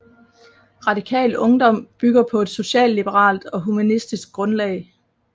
Radikal Ungdom bygger på et socialliberalt og humanistisk grundlag